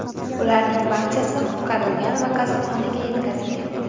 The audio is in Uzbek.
Ularning barchasi qutqarilgan va kasalxonaga yetkazilgan.